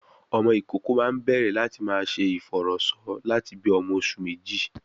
Ọmọ ìkókó máa ń bẹ̀rẹ̀ láti máa ṣe ìfọ̀rọ̀sọ lati bi ọmọ oṣù méjì